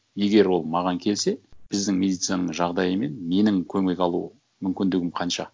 егер ол маған келсе біздің медицинаның жағдайымен менің көмек алу мүмкіндігім қанша